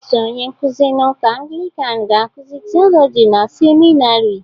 Otu onye nkuzi na ụka Anglican ga-akụzi Theology na seminarị